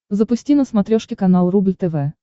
запусти на смотрешке канал рубль тв